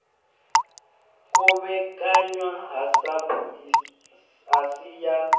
kovhekanywa ha sapu asi ya